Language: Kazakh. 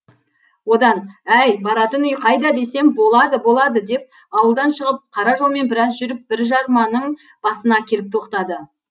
одан әй баратын үй қайда десем болады болады деп ауылдан шығып қара жолмен біраз жүріп бір жарманың басына келіп тоқтады